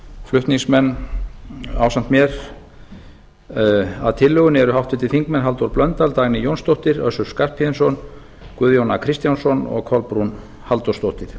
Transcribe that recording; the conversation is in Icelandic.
flutningsmenn ásamt mér að tillögunni eru háttvirtir þingmenn halldór blöndal dagný jónsdóttir össur skarphéðinsson guðjón a kristjánsson og kolbrún halldórsdóttir